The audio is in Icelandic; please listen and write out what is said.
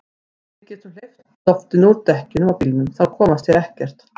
Við getum hleypt loftinu úr dekkjunum á bílnum. þá komast þeir ekkert.